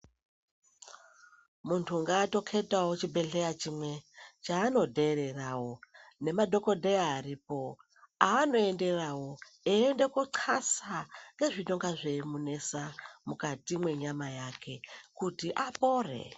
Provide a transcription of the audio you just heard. Mundu ngaatoketawo chibhehleya chimwe chaanotererawo. Nemadhodheya aripo aanoenderawo, einda koxasa ngezvinonga zveimunesa mukati mwenyama yake , kuti apore